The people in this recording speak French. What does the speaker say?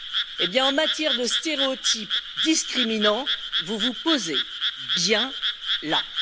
Eh bien, en matière de stéréotypes discriminants, vous vous posez bien là!